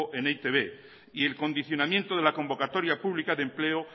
en e i te be y el condicionamiento de la convocatoria pública de empleo